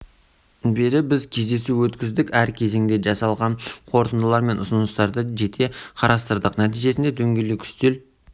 ұйымдастырдық оның жұмысына швеция елшісі қоғамдық белсенділер бизнесмендер қатысты төрт сағатқа созылған нәтижелі кездесу өтті